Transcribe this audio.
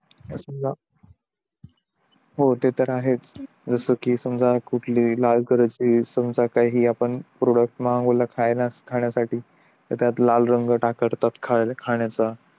समझा ते तर आहेच जस कि समझा कुठली लाल कलरची समझा काही प्रोडक्ट मागवला खायला खाणयासाठी त्यात लाल रंग वापरतात खाण्याचा